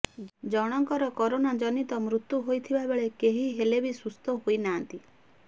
ଜଣଙ୍କର କରୋନାଜନିତ ମୃତ୍ୟୁ ହୋଇଥିବା ବେଳେ କେହି ହେଲେ ବି ସୁସ୍ଥ ହୋଇନାହାନ୍ତି